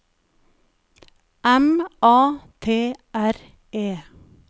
M A T R E